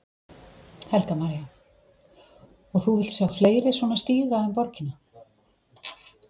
Helga María: Og þú vilt sjá fleiri svona stíga um borgina?